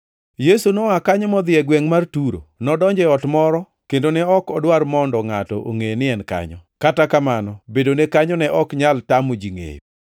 Yesu noa kanyo modhi e gwengʼ mar Turo. Nodonjo e ot moro kendo ne ok odwar mondo ngʼato ongʼe ni en kanyo, kata kamano, bedone kanyo ne ok nyal tamo ji ngʼeyo.